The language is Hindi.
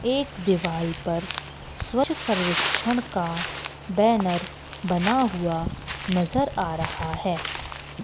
एक दिवाल पर स्वच्छ सर्वेक्षण का बैनर बना हुआ नजर आ रहा हैं।